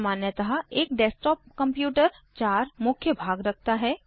सामान्यतः एक desktop computer 4 मुख्य भाग रखता है